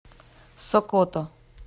сокото